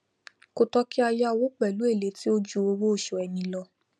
kò tó kí á yá owó pèlú èlé tí ó ju owó osù ẹni lọ